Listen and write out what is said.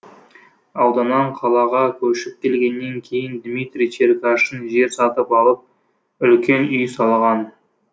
ауданнан қалаға көшіп келгенен кейін дмитрий черкашин жер сатып алып үлкен үй салған